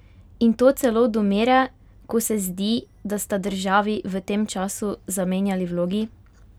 In to celo do mere, ko se zdi, da sta državi v tem času zamenjali vlogi?